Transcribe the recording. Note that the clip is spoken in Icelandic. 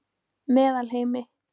Meðalheimi